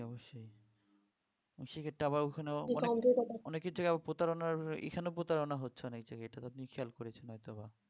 জি অবশ্যই . অনেকেই হচ্ছে আবার প্রতারণার এখানেও প্রতারণা হচ্ছে অনেক জায়গায় এটা তো আপনি খেয়াল করেছেন হয়তো বা